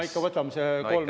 No ikka võtame selle kolm.